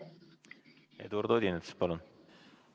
Eduard Odinets, palun!